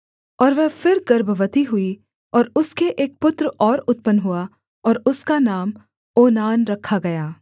और वह फिर गर्भवती हुई और उसके एक पुत्र और उत्पन्न हुआ और उसका नाम ओनान रखा गया